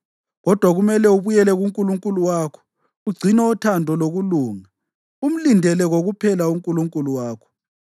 Kodwa kumele ubuyele kuNkulunkulu wakho; ugcine uthando lokulunga, umlindele kokuphela uNkulunkulu wakho.